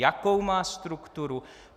jakou má strukturu;